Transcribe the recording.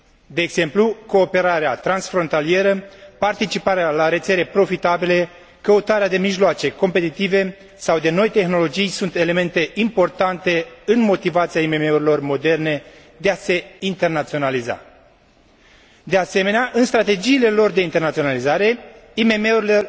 De exemplu, cooperarea transfrontalieră, participarea la rețele profitabile, căutarea de mijloace competitive sau de noi tehnologii sunt elemente importante în motivația IMM urilor moderne de a se internaționaliza. De asemenea, în strategiile lor de internaționalizare, IMM urile